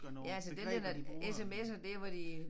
Ja altså den der når de sms'er dér hvor de